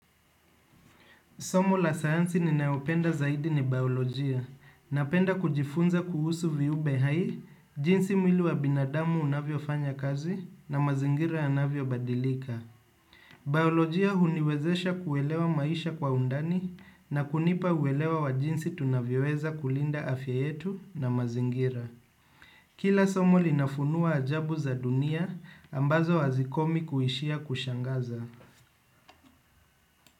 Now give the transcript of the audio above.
Somo la sayansi ninayopenda zaidi ni baiolojia. Napenda kujifunza kuhusu viumbe hai, jinsi mwili wa binadamu unavyofanya kazi na mazingira yanavyobadilika. Baiolojia huniwezesha kuelewa maisha kwa undani na kunipa uelewa wa jinsi tunavyoweza kulinda afya yetu na mazingira. Kila somo linafunua ajabu za dunia ambazo hazikomi kuishia kushangaza.